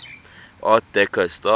art deco style